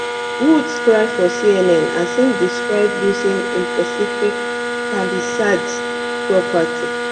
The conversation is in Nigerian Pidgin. woods cry for cnn as im describe losing in pacific palisades property